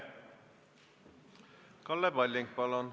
Kalle Palling, palun!